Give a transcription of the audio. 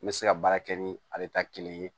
N bɛ se ka baara kɛ ni ale ta kelen ye